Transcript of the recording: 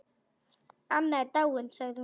Anna er dáin sagði hún.